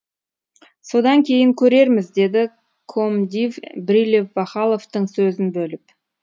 содан кейін көрерміз деді комдив брилев вахаловтың сөзін бөліп